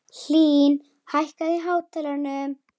Hlín, hækkaðu í hátalaranum.